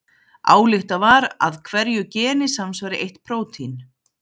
ályktað var að hverju geni samsvari eitt prótín